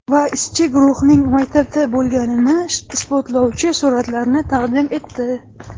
Va ishchi guruhning maktabda bo‘lganini isbotlovchi suratlarni taqdim etdi.